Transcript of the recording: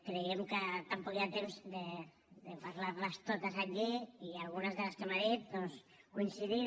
creiem que tampoc hi ha temps de parlar les totes aquí i en algunes de les que m’ha dit doncs coincidim